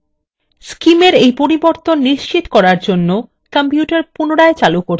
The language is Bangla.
scimwe পরিবর্তন নিশ্চিত করার জন্য কম্পিউটার পুনরায় চালু করতে have